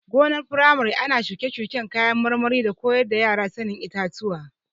Gonar firamare ana shuke-shuken kayan marmari da koyar da yara sanin itatuwa.